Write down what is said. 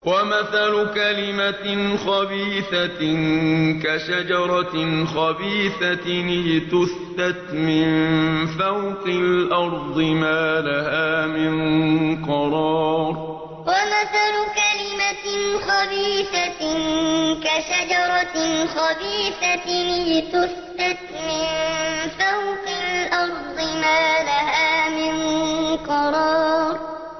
وَمَثَلُ كَلِمَةٍ خَبِيثَةٍ كَشَجَرَةٍ خَبِيثَةٍ اجْتُثَّتْ مِن فَوْقِ الْأَرْضِ مَا لَهَا مِن قَرَارٍ وَمَثَلُ كَلِمَةٍ خَبِيثَةٍ كَشَجَرَةٍ خَبِيثَةٍ اجْتُثَّتْ مِن فَوْقِ الْأَرْضِ مَا لَهَا مِن قَرَارٍ